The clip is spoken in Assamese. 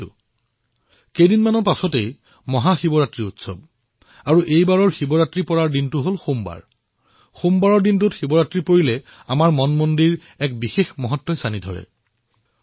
কিছুদিন পিছতে মহাশিৱৰাত্ৰি অনুষ্ঠিত হব আৰু এইবাৰৰ শিৱৰাত্ৰি সোমবাৰে হব আৰু যেতিয়া শিৱৰাত্ৰি সোমবাৰে হব তেতিয়া তাৰ এক বিশেষ গুৰুত্ব আমাৰ মনমন্দিৰত উজ্বলি উঠে